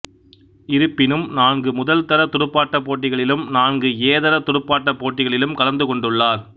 இருப்பினும் நான்கு முதல்தர துடுப்பாட்டப் போட்டிகளிலும் நான்கு ஏதர துடுப்பாட்டப் போட்டிகளிலும் கலந்து கொண்டுள்ளார்